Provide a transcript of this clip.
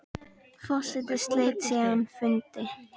Forseti sleit síðan fundi.